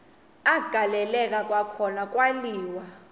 agaleleka kwakhona kwaliwa